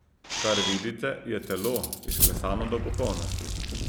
Kar vidite, je telo, izklesano do popolnosti.